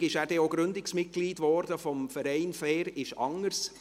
Folgerichtig wurde er dann auch Gründungsmitglied des Vereins «Fair ist anders».